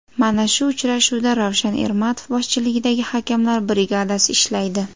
Mana shu uchrashuvda Ravshan Ermatov boshchiligidagi hakamlar brigadasi ishlaydi.